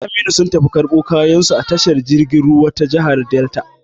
Su Aminu sun tafi karbo kayan su a tashar jirgin ruwa ta jigar Delta